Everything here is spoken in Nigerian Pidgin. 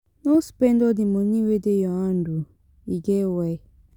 No spend all di moni wey dey your hand o, e get why.